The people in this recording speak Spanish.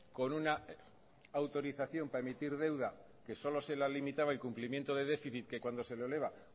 con una autorización para emitir deuda que solo se la limitaba y cumplimiento de déficit que cuando se le eleva